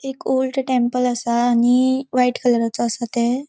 एक old temple असा आणि व्हाइट कलराचो आसा ते.